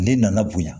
Ne nana bonya